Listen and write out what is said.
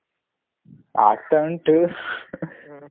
ಆಗ್ತಾ ಉಂಟು .